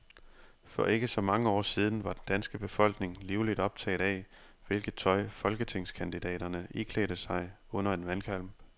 For ikke så mange år siden var den danske befolkning livligt optaget af, hvilket tøj folketingskandidaterne iklædte sig under en valgkamp.